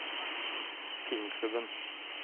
filmklubben